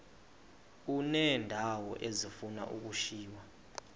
uneendawo ezifuna ukushiywa